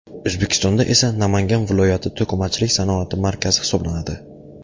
O‘zbekistonda esa Namangan viloyati to‘qimachilik sanoati markazi hisoblanadi.